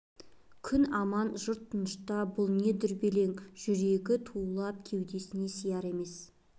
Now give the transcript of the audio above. күн аман жұрт тынышта бұл не дүрбелең жүрегі тулап кеудесіне сияр емес